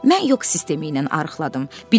Mən yox sistemi ilə arıqladım.